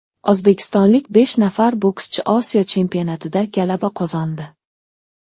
O‘zbekistonlik besh nafar bokschi Osiyo chempionatida g‘alaba qozondi.